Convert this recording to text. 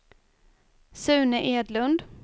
Sune Edlund